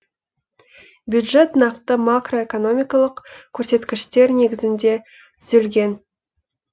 бюджет нақты макроэкономикалық көрсеткіштер негізінде түзілген